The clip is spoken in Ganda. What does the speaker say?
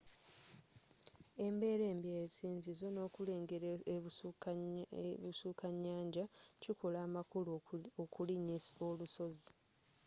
embeera embi ey'esinzizo nokulengele ebusuka nyanja kikola amakulu okulinya olusozi